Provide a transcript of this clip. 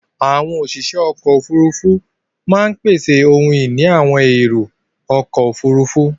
Àwọn òṣìṣẹ́ ọkọ̀-òfurufú máa ń pèsè ohun ìní àwọn èrò-ọkọ̀ òfurufú.